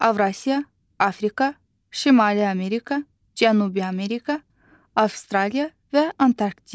Avrasiya, Afrika, Şimali Amerika, Cənubi Amerika, Avstraliya və Antarktida.